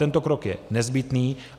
Tento krok je nezbytný.